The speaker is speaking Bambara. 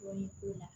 Dɔɔnin k'o la